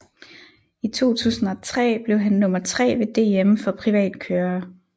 I 2003 blev han nummer tre ved DM for privatkørere